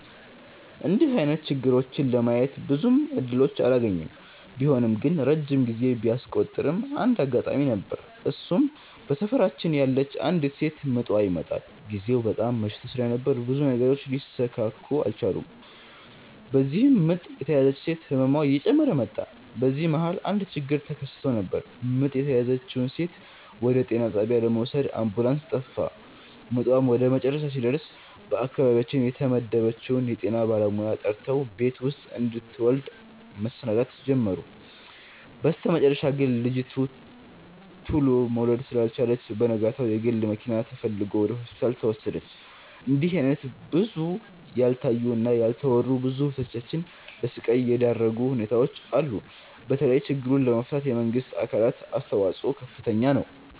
እንድህ አይነት ችግሮችን ለማየት ብዙም እድሎችን አላገኝም። ቢሆንም ግን ረጅም ጊዜ ቢያስቆጥርም አንድ አጋጣሚ ነበር እሱም በሰፈራችን ያለች አንዲት ሴት ምጧ ይመጠል። ግዜው በጣም መሽቶ ስለነበር ብዙ ነገሮች ሊሰካኩ አልቻሉም። በዚህም ምጥ የተያዘችው ሴት ህመሟ እየጨመረ መጣ። በዚህ መሀል አንድ ችግር ተከስቶ ነበር ምጥ የተያዘችውን ሴት ወደ ጤና ጣቢያ ለመውሰድ አምቡላንስ ጠፋ። ምጧም ወደመጨረሻ ሲደርስ በአካባቢያችን የተመደበችውን የጤና ባለሙያ ጠርተው ቤት ውስጥ እንድትወልድ መሰናዳት ጀመሩ። በስተመጨረሻ ግን ልጂቱ ቱሎ መውለድ ስላልቻለች በነጋታው የግል መኪና ተፈልጎ ወደ ሆስፒታል ተወሰደች። እንድህ አይነት ብዙ ያልታዩ እና ያልተወሩ ብዙ እህቶቻችን ለስቃይ የዳረጉ ሁኔታዎች አሉ። በተለይ ችግሩን ለመፍታት የመንግስት አካላት አስተዋጽኦ ከፍተኛ ነው።